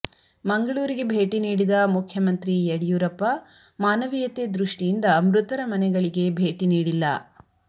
ಮಂಗಳೂರಿಗೆ ಭೇಟಿ ನೀಡಿದ ಮುಖ್ಯಮಂತ್ರಿ ಯಡಿಯೂರಪ್ಪ ಮಾನವೀಯತೆ ದೃಷ್ಟಿಯಿಂದ ಮೃತರ ಮನೆಗಳಿಗೆ ಭೇಟಿ ನೀಡಿಲ್ಲ